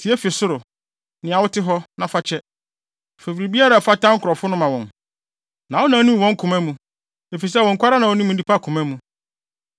tie fi ɔsoro, nea wote hɔ, na fa kyɛ. Fa biribiara a ɛfata wo nkurɔfo no ma wɔn, na wo na wunim wɔn koma mu, efisɛ wo nko ara na wunim nnipa koma mu.